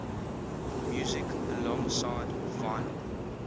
music alongside vinyl